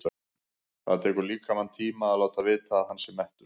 Það tekur líkamann tíma að láta vita að hann sé mettur.